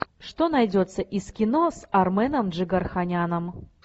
что найдется из кино с арменом джигарханяном